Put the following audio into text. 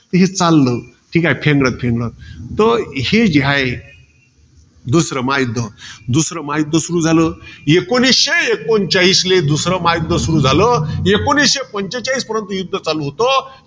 हे चाललं फेंगडत फेंगडत. हे जे हाये, दुसरं महायुध्द. दुसरं महायुध्द सुरु झालं. एकोणीसशे एकोणचाळीसले दुसरं महायुध्द सुरु झालं. एकोणीसशे पंचेचाळीस पर्यंत युध्द चालू होतं.